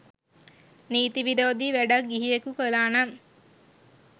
නීති විරෝධී වැඩක් ගිහියකු කළා නම්